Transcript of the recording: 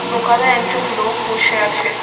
দোকানে একজন লোক বসে আছে।